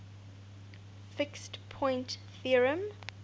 fixed point theorem